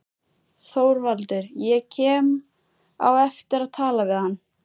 ÞORVALDUR: Ég kem á eftir og tala við hann.